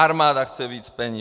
Armáda chce víc peněz.